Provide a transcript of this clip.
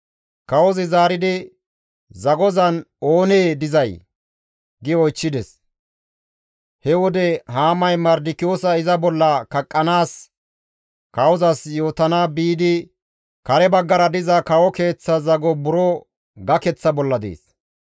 Kawozi zaaridi, «Zagozan oonee dizay?» gi oychchides. He wode Haamay Mardikiyoosa iza bolla kaqqanaas kawozas yootana biidi kare baggara diza kawo keeththa zago buro gakeththa bolla dees.